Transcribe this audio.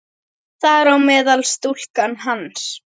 Þar á meðal stúlkan hans.